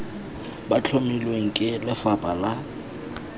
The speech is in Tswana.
bo tlhomilweng ke lefapha la